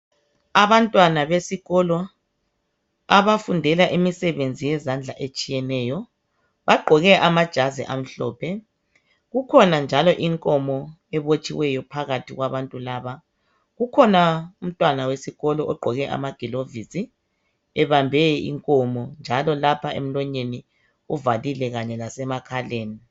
Abantwana besikolo abafundela imisebenzi yezandla etshiyeneyo. Bagqoke amajazi amhlophe. Kukhona njalo inkomo ebotshiweyo phakathi kwabantu laba. Kukhona umntwana wesikolo ogqoke amagilovisi ebambe inkomo njalo lapha emlonyeni uvalile kanye lasemakhaleni